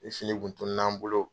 Ni fini kun tunun'an bolo.